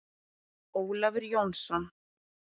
Ólafur Jónsson.